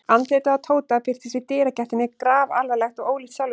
Andlitið á Tóta birtist í dyragættinni grafalvarlegt og ólíkt sjálfu sér.